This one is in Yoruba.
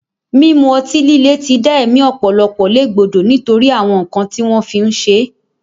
Mímu ọtí líle ti dá ẹ̀mí ọ̀pọ̀lọpọ̀ légbodò nítorí àwọn nǹkan tí wọ́n fi ń ṣe é